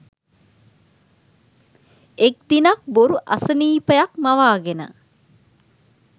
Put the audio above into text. එක් දිනක් බොරු අසනීපයක් මවාගෙන